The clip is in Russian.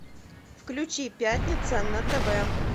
включи пятница на тв